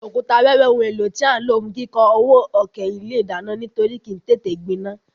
Òkúta wẹ́wẹ́ oun éló tí a n ló fún kíkó ọwọ́ òkè ilé ìdánán nítorí kìí tété gbinán